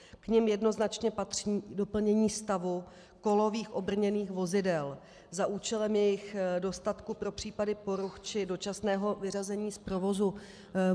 K nim jednoznačně patří doplnění stavu kolových obrněných vozidel za účelem jejich dostatku pro případy poruch či dočasného vyřazení z provozu.